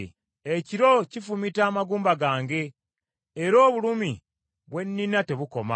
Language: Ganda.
Ekiro kifumita amagumba gange era obulumi bwe nnina tebukoma.